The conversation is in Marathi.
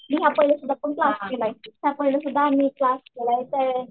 मी पाहिलेसुद्धा करत होते पाहिलेसुद्धा मी इथे क्लास केलाय.